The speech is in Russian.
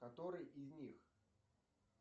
который из них